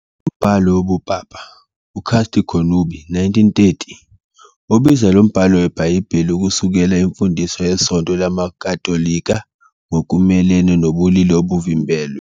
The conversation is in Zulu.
Umbhalo wobupapa "uCasti connubii", 1930, ubiza lo mbhalo weBhayibheli ukusekela imfundiso yeSonto LamaKatolika ngokumelene nobulili obuvimbelwe.